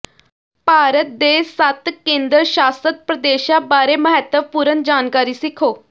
ਭਾਰਤ ਦੇ ਸੱਤ ਕੇਂਦਰ ਸ਼ਾਸਤ ਪ੍ਰਦੇਸ਼ਾਂ ਬਾਰੇ ਮਹੱਤਵਪੂਰਨ ਜਾਣਕਾਰੀ ਸਿੱਖੋ